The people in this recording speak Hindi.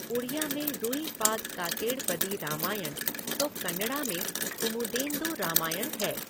उड़िया में रूइपाद कातेड़पदी रामायण तो कन्नड़ा में कुमुदेन्दु रामायण है।